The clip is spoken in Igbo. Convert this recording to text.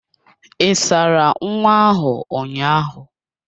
Ị sara nwa ahụ ụnyaahụ?